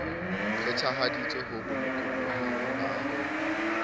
phethahaditswe o bolokolohing ba ho